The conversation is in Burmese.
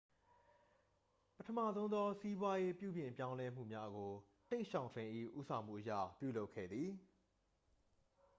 ပထမဆုံးသော စီးပွားရေး ပြုပြင်ပြောင်းလဲမှုများကို တိန့်ရှောင်ဖိန်၏ ဦးဆောင်မှုအရ ပြုလုပ်ခဲ့သည်